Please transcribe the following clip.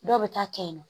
Dɔw bɛ taa kɛ yen nɔ